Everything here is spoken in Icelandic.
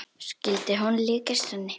Skyldi hún líkjast henni?